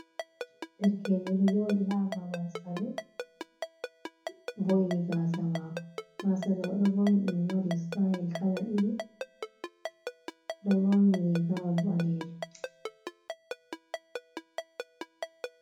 Derkejo ɗo joɗi ha babal salu boi’ni gasa mako, gasaɗo oɗo vo’in ɗum waɗi stayel kala ɗiɗi, oɗo ɓorni rigawol ɓalejum.